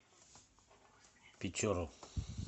печору